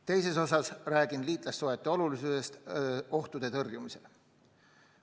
Teises osas räägin liitlassuhete olulisusest ohtude tõrjumisel.